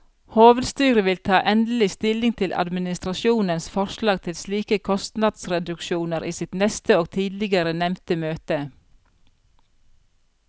Hovedstyret vil ta endelig stilling til administrasjonens forslag til slike kostnadsreduksjoner i sitt neste og tidligere nevnte møte.